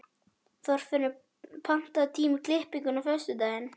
Þorfinnur, pantaðu tíma í klippingu á föstudaginn.